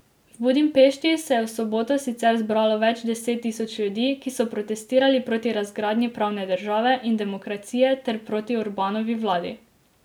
V Budimpešti se je v soboto sicer zbralo več deset tisoč ljudi, ki so protestirali proti razgradnji pravne države in demokracije ter proti Orbanovi vladi.